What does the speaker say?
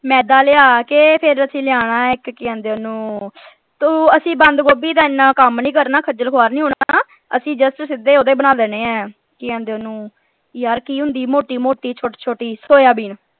ਮੈਦਾ ਲਿਆ ਕੇ ਫੇਰ ਅਸੀਂ ਲਿਆਉਣਾ ਇਕ ਕਿ ਕਹਿੰਦੇ ਓਹਨੂੰ ਤੂੰ ਅਸੀਂ ਬੰਦ ਗੋਭੀ ਦਾ ਇਨ੍ਹਾਂ ਕੰਮ ਨਹੀਂ ਕਰਨਾ ਖੱਜਲ ਖੁਆਰ ਨੀ ਹੋਣਾ ਅਸੀਂ just ਸਿੱਧੇ ਓਹਦੇ ਬਣਾ ਦੇਣੇ ਹੈ ਕਿ ਕਹਿੰਦੇ ਓਹਨੂੰ ਯਾਰ ਕਿ ਹੁੰਦੀ ਮੋਟੀ ਮੋਟੀ ਛੋਟੀ ਛੋਟੀ soyabean